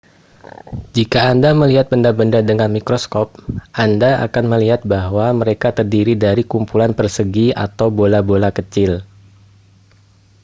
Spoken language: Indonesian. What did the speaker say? jika anda melihat benda-benda dengan mikroskop anda akan melihat bahwa mereka terdiri dari kumpulan persegi atau bola-bola kecil